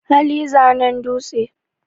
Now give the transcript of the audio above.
hali zanen dutse